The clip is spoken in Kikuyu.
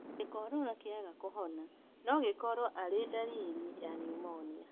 Gĩkorora kĩaga kũhona nogĩkorwo arĩ ndariri ya niumonia